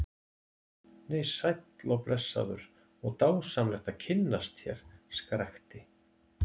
Nei, sæll og blessaður og dásamlegt að kynnast þér, skrækti